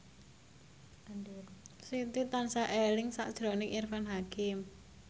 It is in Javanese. Siti tansah eling sakjroning Irfan Hakim